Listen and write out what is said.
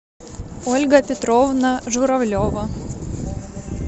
ольга петровна журавлева